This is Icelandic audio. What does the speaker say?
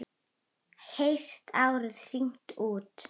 Heyrt árið hringt út.